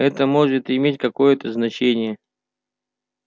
это может иметь какое-то значение